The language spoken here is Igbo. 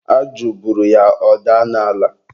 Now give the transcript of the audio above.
ajụ buru ya, ọ daa n'ala.